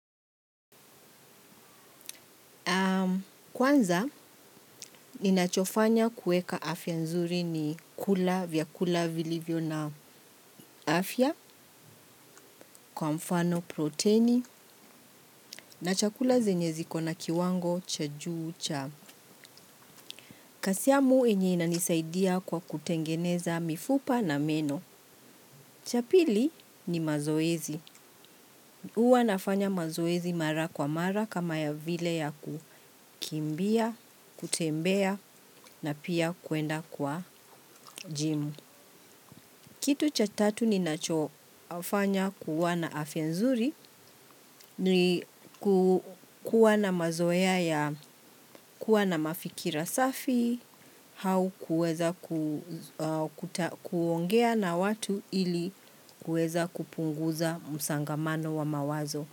Kwanza, ninachofanya kueka afya nzuri ni kula vyakula vilivyo na afya kwa mfano proteini na chakula zenye zikona kiwango cha juu cha. Kasiamu yenye inanisaidia kwa kutengeneza mifupa na meno. Cha pili ni mazoezi. Huwa nafanya mazoezi mara kwa mara kama ya vile ya kukimbia, kutembea na pia kwenda kwa jim. Kitu cha tatu ninachofanya kuwa na afya nzuri ni kuwa na mazoea ya kuwa na mafikira safi hau kuweza kuongea na watu ili kuweza kupunguza msangamano wa mawazo.